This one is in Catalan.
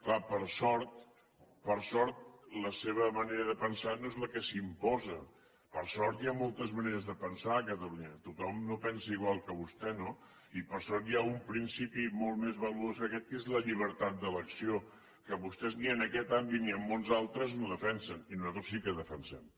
clar per sort la seva manera de pensar no és la que s’imposa per sort hi han moltes maneres de pensar a catalunya tothom no pensa igual que vostè no i per sort hi ha un principi molt més valuós que aquest que és la llibertat d’elecció que vostès ni en aquest àmbit ni en molts altres no defensen i nosaltres sí que defensem